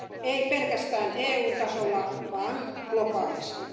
Ei pelkästään EUn tasolla, vaan globaalisti.